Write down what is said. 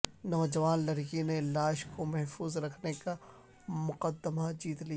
نوجوان لڑکی نے لاش کو محفوظ رکھنے کا مقدمہ جیت لیا